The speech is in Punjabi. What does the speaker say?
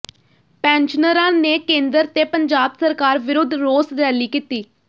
ਪੈਨਸ਼ਨਰਾਂ ਨੇ ਕੇਂਦਰ ਤੇ ਪੰਜਾਬ ਸਰਕਾਰ ਵਿਰੁੱਧ ਰੋਸ ਰੈਲੀ ਕੀਤੀ